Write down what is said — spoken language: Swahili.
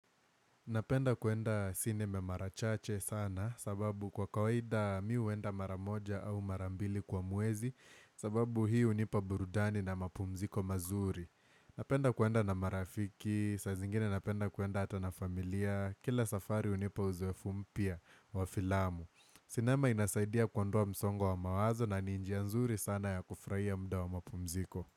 Napenda kuenda sinema mara chache sana sababu kwa kawaida mimi huenda mara moja au mara mbili kwa mwezi sababu hii hunipa burudani na mapumziko mazuri. Napenda kuenda na marafiki, saa zingine napenda kuenda hata na familia, kila safari hunipa uzowefu mpya wa filamu. Sinema inasaidia kuondwa msongo wa mawazo na ni njia nzuri sana ya kufurahia muda wa mapumziko.